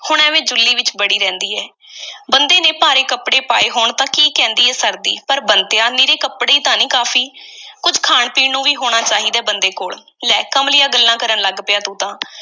ਹੁਣ ਐਵੇਂ ਜੁੱਲੀ ਵਿੱਚ ਵੜੀ ਰਹਿੰਦੀ ਐ। ਬੰਦੇ ਨੇ ਭਾਰੇ ਕੱਪੜੇ ਪਾਏ ਹੋਣ ਤਾਂ ਕੀ ਕਹਿੰਦੀ ਐ, ਸਰਦੀ? ਪਰ ਬੰਤਿਆ, ਨਿਰੇ ਕੱਪੜੇ ਈ ਤਾਂ ਨਹੀਂ ਨਾ ਕਾਫ਼ੀ, ਕੁਝ ਖਾਣ-ਪੀਣ ਨੂੰ ਵੀ ਹੋਣਾ ਚਾਹੀਦੈ, ਬੰਦੇ ਕੋਲ। ਲੈ ਕਮਲੀਆਂ ਗੱਲਾਂ ਕਰਨ ਲੱਗ ਪਿਐਂ, ਤੂੰ ਤਾਂ।